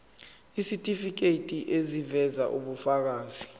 isitifiketi eziveza ubufakazi